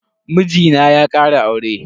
Mijina ya kara aure.